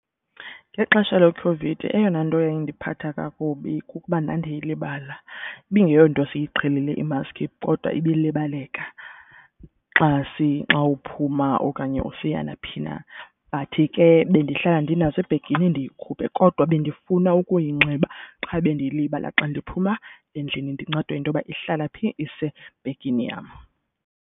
Ngexesha leCOVID eyona nto yayindiphatha kakubi kukuba ndandiyilibala. Ibingeyonto siyiqhelile imaski kodwa ibilibaleka xa uphuma okanye usiya naphi na. But ke bendihlala ndinazo ebhegini ndiyikhuphe kodwa bendifuna ukuyinxiba qha bendiyilibala xa ndiphuma endlini ndincedwe yinto yoba ihlala phi isebhagini yam.